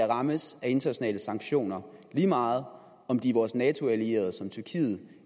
rammes af internationale sanktioner lige meget om de er vores nato allierede som tyrkiet